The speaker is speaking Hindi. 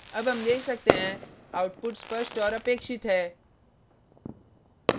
अब हम देख सकते हैं output स्पष्ट और अपेक्षित है